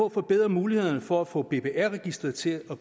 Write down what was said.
at forbedre mulighederne for at få bbr registeret til at